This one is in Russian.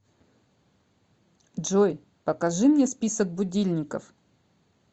джой покажи мне список будильников